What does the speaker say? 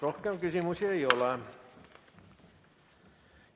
Rohkem küsimusi ei ole.